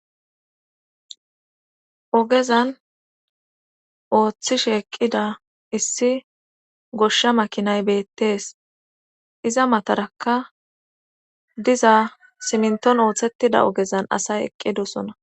Ogeza oothishe eqqiza issi gosha makinay beetees iza matarakka diza simmintton oosettiza ogezan asay eqqidosona.